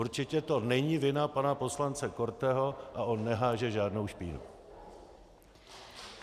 Určitě to není vina pana poslance Korteho a on neháže žádnou špínu.